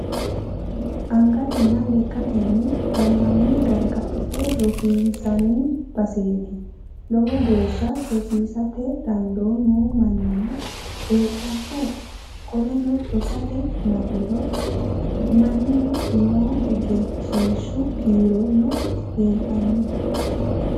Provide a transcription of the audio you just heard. Angatena lekkatenni gananna gargadha rosiinsanni baseeti lowo geeshsha rosiisate dandoo noo mannino heedhanno qoleno rosate Marino mannino no egensiishshu kiirono leelttanno